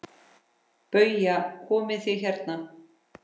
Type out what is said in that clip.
BAUJA: Komið þið hérna!